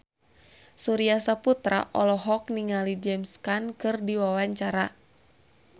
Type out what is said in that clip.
Surya Saputra olohok ningali James Caan keur diwawancara